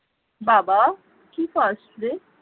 বাবা কি খাস রে